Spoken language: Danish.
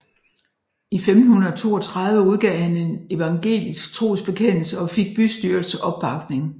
I 1532 udgav han en evangelisk trosbekendelse og fik bystyrets opbakning